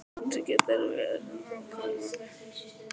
Sindri: Geturðu verið nákvæmari?